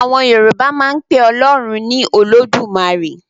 Àwọn Yorùbá máa ń pe Ọlọ́run ní 'Olódùmarè'.